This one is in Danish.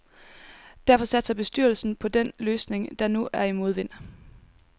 Derfor satser bestyrelsen på den løsning, der nu er i modvind.